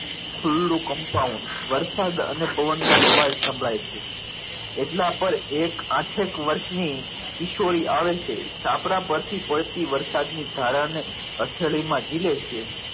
ખુલ્લુ compound વરસાદ અને પવન નો અવાજ સંભળાય છે એટલામાં એક આઠ એક વર્ષની કિશોરી આવે છે છાપરા પરથી પડતી વરસાદની ધારા ને હથેળીમાં જીલે છે.